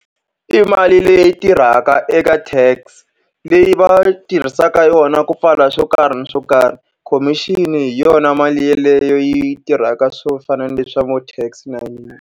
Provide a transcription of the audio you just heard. I mali leyi tirhaka eka Tax, leyi va yi tirhisaka yona ku pfala swo karhi ni swo karhi. Komixini hi yona mali yeleyo yi tirhaka swo fana na leswi swa vo Tax .